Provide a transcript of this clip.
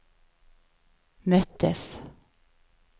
möttes